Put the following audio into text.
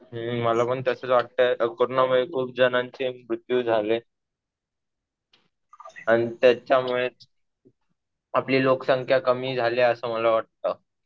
हम्म. मला पण तसंच वाटतंय. कोरोनामुळे खूप जणांचे मृत्यू झाले. आणि त्याच्यामुळे आपली लोकसंख्या कमी झाली असं मला वाटतं.